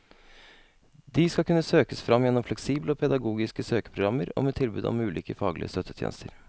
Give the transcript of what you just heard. De skal kunne søkes fram gjennom fleksible og pedagogiske søkeprogrammer og med tilbud om ulike faglige støttetjenester.